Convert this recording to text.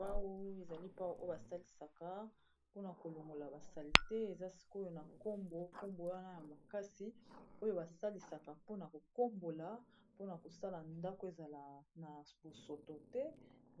Pau ezali pau oyo basalisaka mpona kolongola basali te eza sikoyo na nkombo nkombo wana ya makasi oyo basalisaka mpona kokombola, mpona kosala ndako ezala na bosoto te